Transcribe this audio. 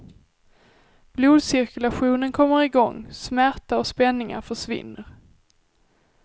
Blodcirkulationen kommer i gång, smärta och spänningar försvinner.